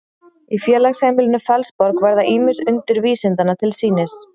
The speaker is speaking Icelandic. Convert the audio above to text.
í félagsheimilinu fellsborg verða ýmis undur vísindanna til sýnis